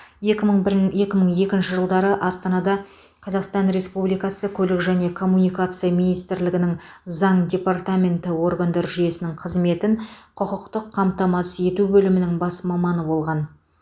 екі мың бір екі мың екінші жылдары астанада қазақстан республикасы көлік және коммуникация министрлігінің заң департаменті органдар жүйесінің қызметін құқықтық қамтамасыз ету бөлімінің бас маманы болған